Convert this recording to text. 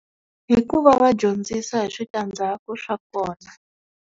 Hikuva va dyondzisa hi swi ta ndzaku swa kona.